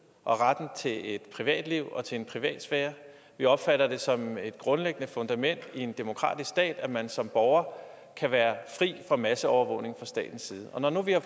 og retten til et privatliv og til en privatsfære vi opfatter det som et grundlæggende fundament i en demokratisk stat at man som borger kan være fri for masseovervågning fra statens side og når nu vi har